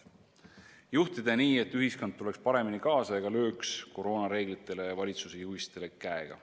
Seda saab juhtida nii, et ühiskond tuleks paremini kaasa ega lööks koroonareeglitele ja valitsuse juhistele käega.